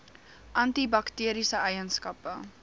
anti bakteriese eienskappe